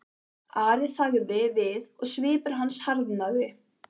Ari þagði við og svipur hans harðnaði.